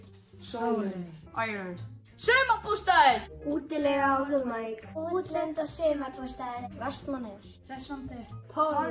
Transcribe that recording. sólin Akranes sumarbústaðir útilega og Hólmavík útlönd og sumarbústaðir Vestmannaeyjar hressandi Pólland